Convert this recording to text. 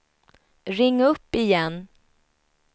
ring upp igen